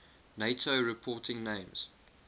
nato reporting names